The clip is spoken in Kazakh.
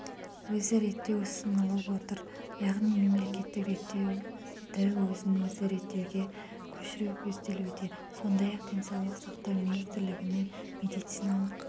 өзі реттеуұсынылып отыр яғни мемлекеттік реттеудіөзін өзі реттеуге көшіру көзделуде сондай-ақ денсаулық сақтау министрлігінің медициналық